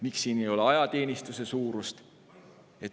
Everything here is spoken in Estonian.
Või miks siin ei ole ajateenistuse suurust?